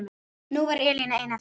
Nú er Elína ein eftir.